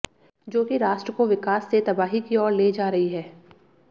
जो कि राष्ट्र को विकास से तबाही की ओर ले जा रही है